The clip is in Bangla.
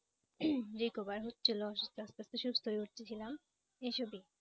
Recover হচ্ছিল, ওষুধ খেয়ে আস্তে আস্তে সুস্থ হয়ে উঠতে ছিলাম। এইসব ই।